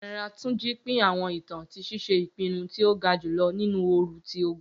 General Tunji pin awọn itan ti ṣiṣe ipinnu ti o ga julọ ninu ooru ti ogun.